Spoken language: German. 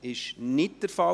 – Dies ist nicht der Fall.